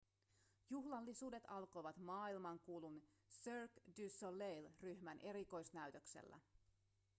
juhlallisuudet alkoivat maailmankuulun cirque du soleil ryhmän erikoisnäytöksellä